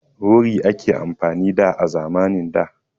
Wuri ake amfani da, a zamanin da.